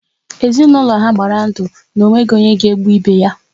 Ezinaụlọ ha gbara ndụ na ọ nweghị onye ga-egbu ibe ya